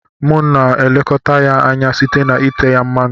Mụ na elekọta ya anya site na ite ya mmanụ.